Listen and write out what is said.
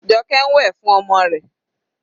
Joke ń wẹ̀ fún ọmọ rẹ̀.